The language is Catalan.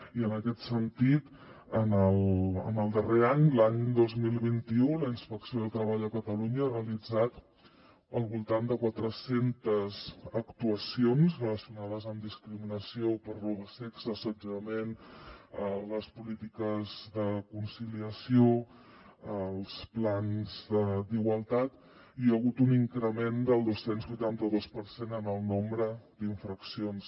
i en aquest sentit en el darrer any l’any dos mil vint u la inspecció de treball de catalunya ha realitzat al voltant de quatre centes actuacions relacionades amb discriminació per raó de sexe assetjament les polítiques de conciliació els plans d’igualtat i hi ha hagut un increment del dos cents i vuitanta dos per cent en el nombre d’infraccions